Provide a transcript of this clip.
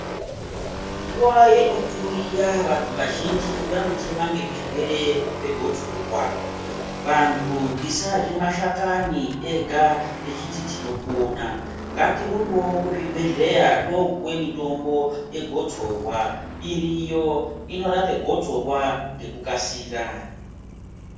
Nguwa yekutuyiya vantu vazhinji vanochema ngezvirwere zvegotsorwa vantu tisarye mashakani ega techiti tinopona ngatirumbewo kuchibhehleya topuwa mitombo yegotsorwa iriyo inorape gotsorwa ngekukasira